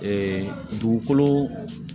dugukolo